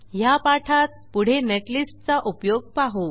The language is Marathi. ह्या पाठात पुढे नेटलिस्ट चा उपयोग पाहू